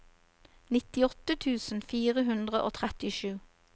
nittiåtte tusen fire hundre og trettisju